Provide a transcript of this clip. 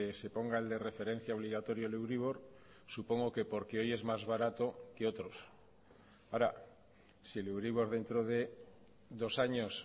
se ponga el de referencia obligatorio el euribor supongo que porque hoy es más barato que otros ahora si el euribor dentro de dos años